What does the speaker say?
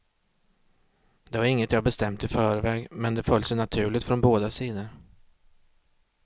Det var inget jag bestämt i förväg, men det föll sig naturligt från båda sidor.